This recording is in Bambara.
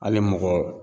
Hali mɔgɔ